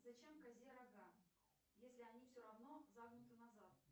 зачем козе рога если они все равно загнуты назад